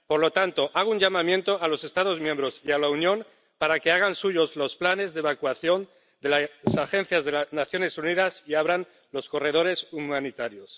Por lo tanto, hago un llamamiento a los Estados miembros y a la Unión para que hagan suyos los planes de evacuación de las agencias de las Naciones Unidas y abran los corredores humanitarios.